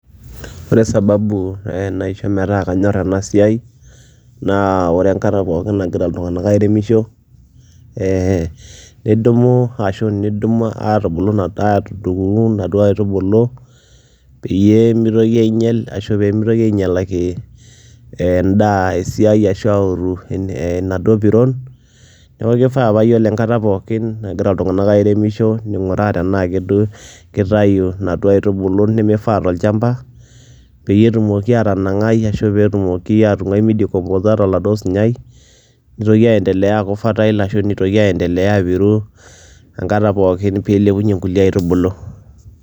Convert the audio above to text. Ore sababu ee naisho metaa kanyor ena siai naa ore enkata pookin nagira iltung'anak airemisho ee nidumu ashu niidim aatubulu aatudung'u naduoa aitubulu peyie mitoki ainyal ashu pee mitoki ainyalaki endaa esiai ashu aaoru en enaduo piron. Neeku kifaa paa iyiolo enkata pookin nagira iltung'anak airemisho ning'uraa tenaake duo kitayu naduo aitubulu nemifaa tolchamba peyie etumoki ataanang'ai ashu peetumoki aatung'wai midecomposa tolaaduo sunyai nitoki aiendelea aaku fertile ashu nitoki aiendelea apiru enkata pookin pee ilepunye nkulie aitubulu.